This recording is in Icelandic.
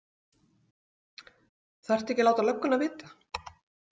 Þarftu ekki að láta lögguna vita?